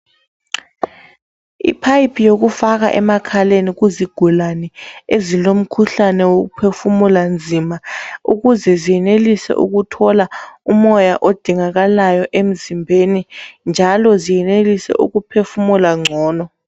Iphayiphi yokufaka emakhaleni kuzigulane ezilomkhuhlane wokuphefumula nzima ukuze zenelise ukuthola umoya odingakalayo emzimbeni, njalo zenelise ukuphefumula gcono.